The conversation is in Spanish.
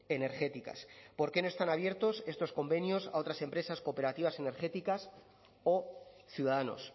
energéticas por qué no están abiertos estos convenios a otras empresas cooperativas energéticas o ciudadanos